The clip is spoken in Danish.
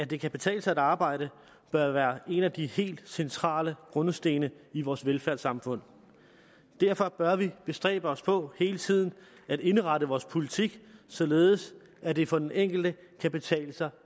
det kan betale sig at arbejde bør være en af de helt centrale grundsten i vores velfærdssamfund derfor bør vi bestræbe os på hele tiden at indrette vores politik således at det for den enkelte kan betale sig